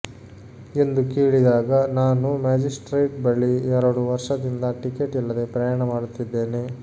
ಎಂದು ಕೇಳಿದಾಗ ನಾನು ಮ್ಯಾಜಿಸ್ಟ್ರೇಟ್ ಬಳಿ ಎರಡು ವರ್ಷದಿಂದ ಟಿಕೆಟ್ ಇಲ್ಲದೆ ಪ್ರಯಾಣ ಮಾಡುತ್ತಿದೇನೆ